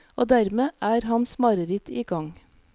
Og dermed er hans mareritt i gang.